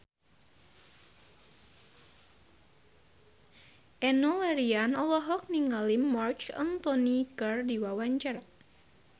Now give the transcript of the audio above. Enno Lerian olohok ningali Marc Anthony keur diwawancara